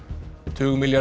tugmilljarða